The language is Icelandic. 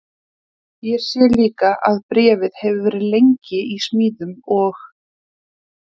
Ég sé líka að bréfið hefur verið lengi í smíðum og